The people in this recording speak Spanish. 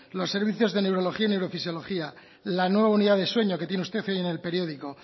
los servicios de neurología y neurofisiología la nueva unidad de sueño que tiene usted hoy en el periódico